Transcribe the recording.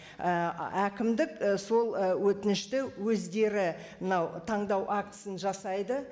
ііі әкімдік і сол і өтінішті өздері мынау таңдау акциясын жасайды